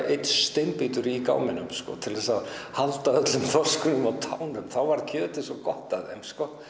steinbítur í gámnum til að halda þorsknum á tánum þá var kjötið svo gott af þeim